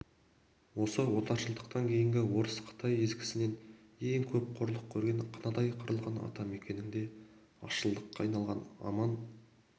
осы отаршылдықтан кешегі орыс қытай езгісінен ең көп қорлық көрген қынадай қырылған атамекенінде азшылыққа айналған аман